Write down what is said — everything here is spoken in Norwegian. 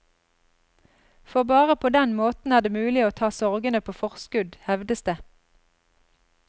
For bare på den måten er det mulig å ta sorgene på forskudd, hevdes det.